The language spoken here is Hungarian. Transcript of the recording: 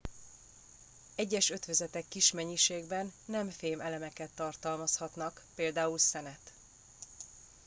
egyes ötvözetek kis mennyiségben nem fém elemeket tartalmazhatnak például szenet